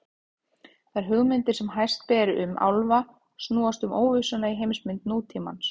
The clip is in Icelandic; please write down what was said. Þær hugmyndir sem hæst ber um álfa snúast um óvissuna í heimsmynd nútímans.